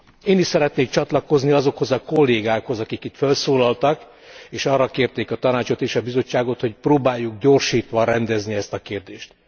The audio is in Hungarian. Én is szeretnék csatlakozni azokhoz a kollégákhoz, akik itt fölszólaltak és arra kérték a Tanácsot és a Bizottságot, hogy próbáljuk gyorsítva rendezni ezt a kérdést.